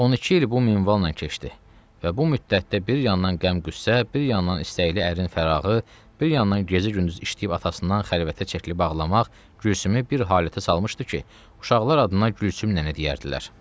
12 il bu minvalla keçdi və bu müddətdə bir yandan qəm-qüssə, bir yandan istəkli ərinin fərağı, bir yandan gecə-gündüz işləyib atasından xəlvətə çəkilib bağlamaq Gülsümü bir halətə salmışdı ki, uşaqlar adına Gülsüm nənə deyərdilər.